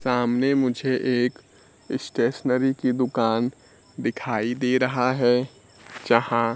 सामने मुझे एक स्टेशनरी की दुकान दिखाई दे रहा है जहां--